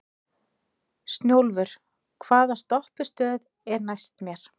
Snjólfur, hvaða stoppistöð er næst mér?